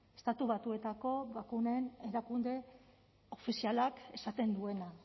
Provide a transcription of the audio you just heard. estatu batuetako bakunen erakunde ofizialak esaten duena